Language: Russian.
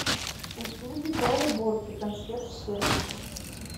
услуги по уборке консьерж сервис